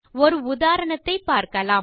ஒரு உதாரணத்தைப் பார்க்கலாம்